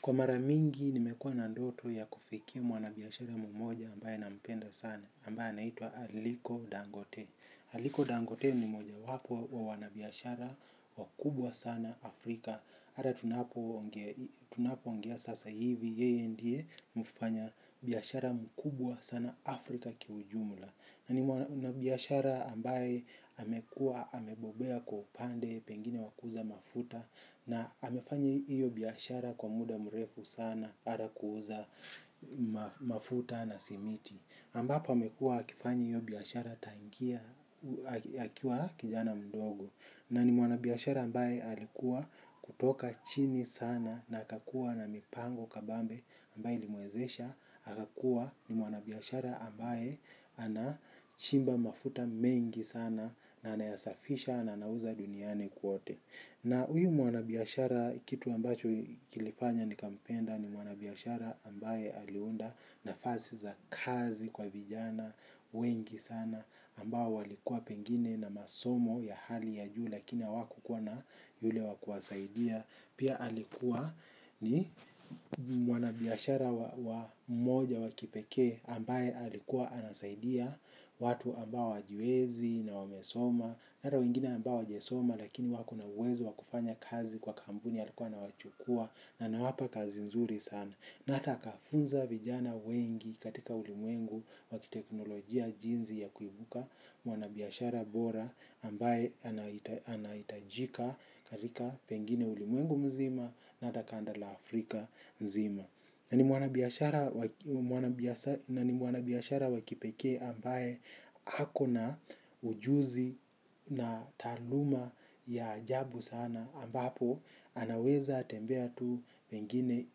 Kwa mara mingi nimekuwa na ndoto ya kufikia mwanabiashara mmoja ambaye nampenda sana, ambaye anaitwa Aliko Dangote. Aliko Dangote ni moja wapo wa wanabiashara wakubwa sana Afrika. Hata tunapoongea sasa hivi, yeye ndiye mfanya biashara mkubwa sana Afrika kiujumla. Na ni mwanabiashara ambaye amekuwa amebobea kwa upande pengine wa kuuza mafuta na amefanya iyo biashara kwa muda mrefu sana para kuuza mafuta na simiti. Ambapa amekua akifanya hiyo biashara tangia, akiwa kijana mdogo. Na ni mwanabiashara ambaye alikuwa kutoka chini sana na akakua na mipango kabambe ambaye ilimwezesha. Akakua ni mwanabiashara ambaye anachimba mafuta mengi sana na anayasafisha na anauza duniani kwote. Na huyu mwanabiashara kitu ambacho kilifanya nikampenda ni mwanabiashara ambaye aliunda nafasi za kazi kwa vijana, wengi sana, ambao walikuwa pengine na masomo ya hali ya juu lakina hawakukuwa na yule wa kuwasaidia. Pia alikuwa ni mwanabiashara wa moja wa kipekee ambaye alikuwa anasaidia watu ambao hawajiwezi na wamesoma. Na hata wengine ambao hawajasoma lakini wako na uwezo wa kufanya kazi kwa kampuni alikuwa anawachukua na anawapa kazi nzuri sana. Na hata akafunza vijana wengi katika ulimwengu wa kiteknolojia jinsi ya kuibuka mwanabiashara bora ambaye anahitajika katika pengine ulimwengu mzima na hata kanda la Afrika mzima. Na ni mwanabiashara wa kipekee ambaye ako na ujuzi na taaluma ya ajabu sana ambapo anaweza tembea tu pengine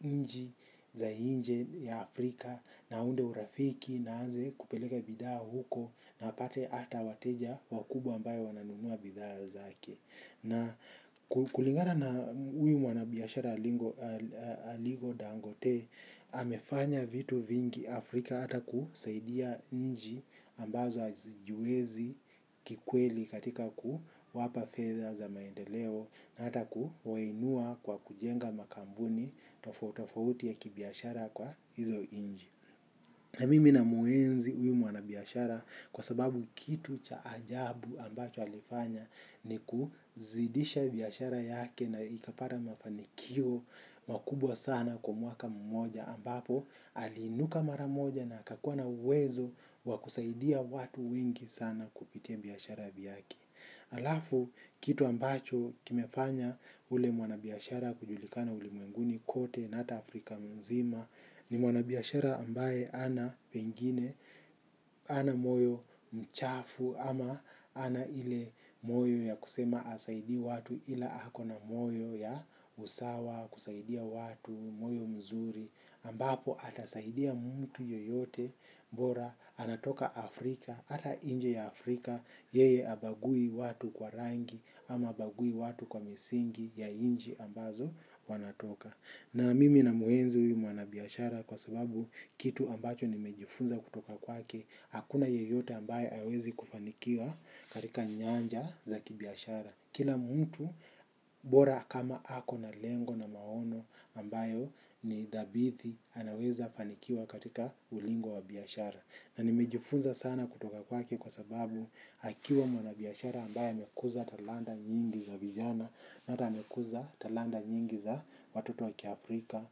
nchi za nje ya Afrika na aunde urafiki na aanze kupeleka bidhaa huko na apate hata wateja wakubwa ambayo wananunua bidhaa zake. Na kulingana na huyu mwanabiashara alingo dangote, amefanya vitu vingi Afrika hata kusaidia nchi ambazo hazijiwezi kikweli katika kuwapa fedha za maendeleo na hata kuwainua kwa kujenga makampuni tofauti tofauti ya kibiashara kwa hizo nchi. Na mimi namuenzi huyu mwanabiashara kwa sababu kitu cha ajabu ambacho alifanya ni kuzidisha biashara yake na ikapata mafanikio makubwa sana kwa mwaka mmoja ambapo aliinuka mara moja na akakuwa na uwezo wa kusaidia watu wengi sana kupitia biashara vyake. Alafu kitu ambacho kimefanya ule mwanabiashara kujulikana ulimwenguni kote na hata Afrika mzima ni mwanabiashara ambaye hana pengine, hana moyo mchafu ama ana ile moyo ya kusema hasaidii watu ila ako na moyo ya usawa kusaidia watu, moyo mzuri. Ambapo anasaidia mtu yoyote bora anatoka Afrika, hata nje ya Afrika, yeye habagui watu kwa rangi ama habagui watu kwa misingi ya nchi ambazo wanatoka. Na mimi namuenzi huyu mwanabiashara kwa sababu kitu ambacho nimejifunza kutoka kwake, hakuna yoyote ambaye hawezi kufanikiwa katika nyanja za kibiashara. Kila mtu bora kama ako na lengo na maono ambayo ni dhabithi anaweza fanikiwa katika ulingo wa biashara. Na nimejufunza sana kutoka kwake kwa sababu akiwa mwanabiashara ambaye amekuza talanta nyingi za vijana. Na hata amekuza talanta nyingi za watoto wa kia Afrika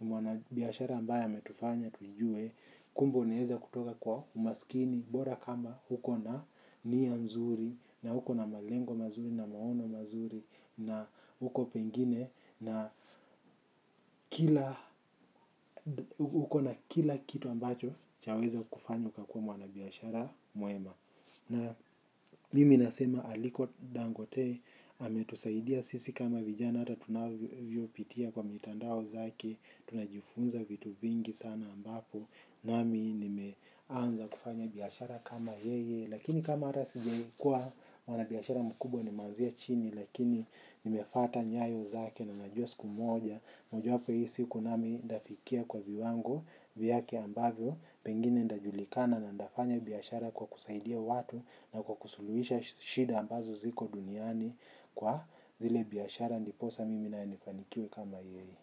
Mwana biashara ambaye ametufanya tujue. Kumbe unaeza kutoka kwa umaskini bora kama uko na nia nzuri na uko na malengo mazuri na maono mazuri na uko pengine na uko na kila kitu ambacho chaweza kufanya ukakuwa mwanabiashara mwema. Na mimi nasema aliko dangote ametusaidia sisi kama vijana hata tunavyopitia kwa mitandao zake. Tunajifunza vitu vingi sana ambapo nami nimeanza kufanya biashara kama yeye lakini you kama hata singelikuwa mwanabiashara mkubwa nimenzia chini lakini nimefata nyayo zake na najua siku moja mojawapo ya hii siku nami ntafikia kwa viwango vyake ambavyo pengine ntajulikana na ntafanya biashara kwa kusaidia watu na kwa kusuluhisha shida ambazo ziko duniani kwa zile biashara ndiposa mimi naye nifanikiwe kama yeye.